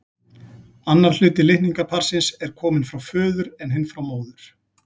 Annar hluti litningaparsins er kominn frá föður en hinn frá móður.